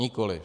Nikoli.